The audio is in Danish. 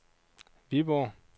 Viborg